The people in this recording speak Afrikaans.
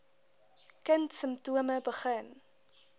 kind simptome begin